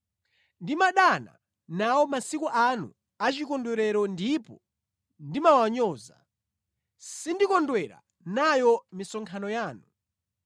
“Ndimadana nawo masiku anu achikondwerero ndipo ndimawanyoza; sindikondwera nayo misonkhano yanu.